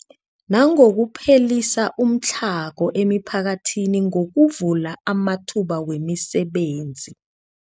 Nangokuphelisa umtlhago emiphakathini ngokuvula amathuba wemisebenzi.